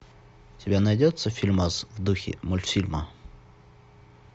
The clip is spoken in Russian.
у тебя найдется фильмас в духе мультфильма